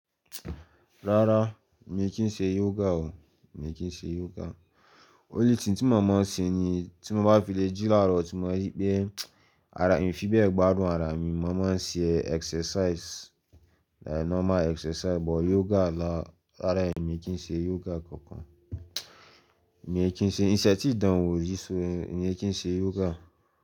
Rárá, mi kì í ṣe yoga o, mi kì í ṣe yoga. Ó lé tin tí mo máa ń ṣe ni tí mo bá filé jí làárọ̀ tí mo bá rí pé ara mi fi bẹ́ẹ̀ gba àrùn ara mi, mo máa ń ṣe exercise, like normal exercise. But yoga là, rárá èmi kì í ṣe yoga kankan. Mi ò kí ń ṣe, ìṣẹ́ tí dán wò ri so, mi ò kí ń ṣe yoga.